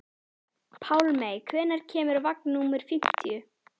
Pálmey, hvenær kemur vagn númer fimmtíu?